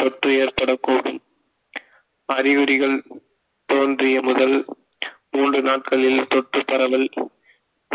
தொற்று ஏற்படக்கூடும் அறிகுறிகள் தோன்றிய முதல் மூன்று நாட்களில் தொற்று பரவல்